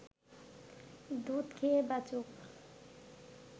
দুধ খেয়ে বাঁচুক